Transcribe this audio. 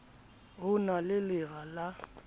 ho na le lera la